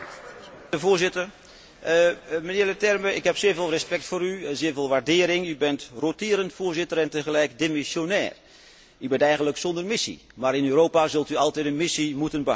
Voorzitter, mijnheer Leterme, ik heb zeer veel respect voor u, zeer veel waardering. U bent roterend voorzitter en tegelijk demissionair. U bent eigenlijk zonder missie, maar in Europa zult u altijd een missie moeten behouden.